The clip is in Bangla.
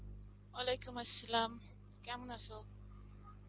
Arbi কেমন আছো?